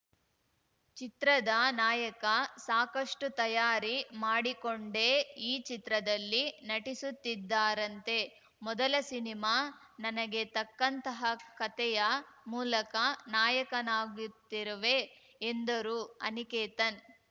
ಚಿತ್ರದ ನಾಯಕ ಸಾಕಷ್ಟುತಯಾರಿ ಮಾಡಿಕೊಂಡೇ ಈ ಚಿತ್ರದಲ್ಲಿ ನಟಿಸುತ್ತಿದ್ದಾರಂತೆ ಮೊದಲ ಸಿನಿಮಾ ನನಗೆ ತಕ್ಕಂತಹ ಕತೆಯ ಮೂಲಕ ನಾಯಕನಾಗುತ್ತಿರುವೆ ಎಂದರು ಅನಿಕೇತನ್‌